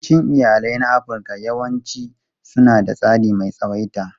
Yawancin iyalai na Afirka yawanci suna da tsari mai tsawaita.